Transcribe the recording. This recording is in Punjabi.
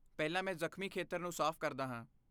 ਪਹਿਲਾਂ, ਮੈਂ ਜ਼ਖਮੀ ਖੇਤਰ ਨੂੰ ਸਾਫ਼ ਕਰਦਾ ਹਾਂ।